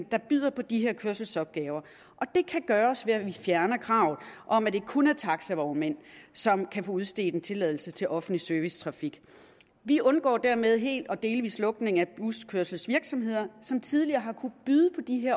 der byder på de her kørselsopgaver det kan gøres ved at vi fjerner kravet om at det kun er taxavognmænd som kan få udstedt en tilladelse til offentlig servicetrafik vi undgår dermed hel eller delvis lukning af buskørselsvirksomheder som tidligere har kunnet byde på de